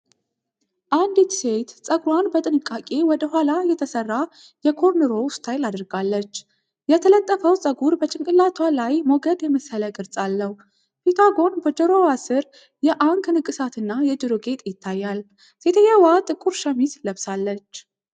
አንዲት ሴት ፀጉሯን በጥንቃቄ ወደ ኋላ የተሰራ የ"ኮርንሮው" (Cornrow) ስታይል አድርጋለች። የተጠለፈው ፀጉር በጭንቅላቷ ላይ ሞገድ የመሰለ ቅርጽ አለው። ፊቷ ጎን በጆሮዋ ስር የ"አንክ" (Ankh) ንቅሳትና የጆሮ ጌጥ ይታያል። ሴትየዋ ጥቁር ሸሚዝ ለብሳለች።